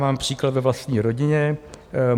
Mám příklad ve vlastní rodině.